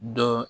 Dɔ